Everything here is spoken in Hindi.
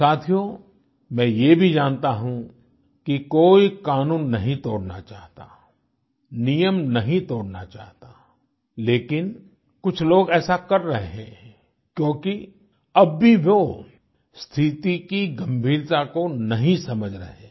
साथियों मैं यह भी जानता हूँ कि कोई कानून नहीं तोड़ना चाहता नियम नहीं तोड़ना चाहता लेकिन कुछ लोग ऐसा कर रहे हैं क्योंकि अब भी वो स्थिति की गंभीरता को नहीं समझ रहे हैं